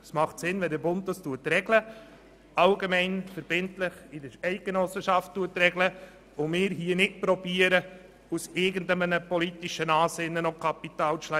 Es macht Sinn, wenn der Bund es allgemeinverbindlich regelt, und wir hier nicht versuchen, aus irgendwelchen politischen Ansinnen Kapital zu schlagen.